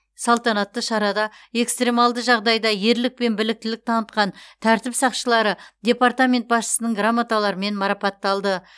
салтанатты шарада экстремалды жағдайда ерлік пен біліктілік танытқан тәртіп сақшылары департамент басшысының грамоталарымен марапатталды